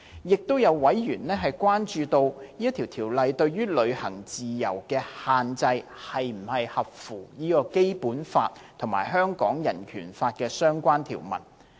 亦有委員關注，《條例草案》對於旅行自由的限制是否合乎《基本法》和香港人權法案的相關條文。